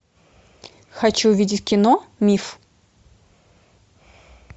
хочу увидеть кино миф